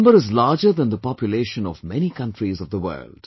This number is larger than the population of many countries of the world